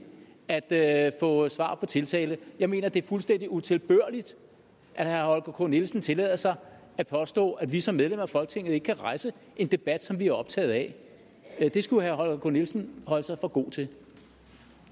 at få svar på tiltale jeg mener at det er fuldstændig utilbørligt at herre holger k nielsen tillader sig at påstå at vi som medlemmer af folketinget ikke kan rejse en debat som vi er optaget af det skulle herre holger k nielsen holde sig for god til